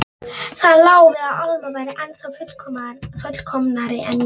Það lá við að Alma væri ennþá fullkomnari en ég.